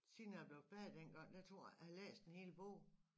Siden jeg blev færdig dengang der tror jeg ikke jeg har læst en hel bog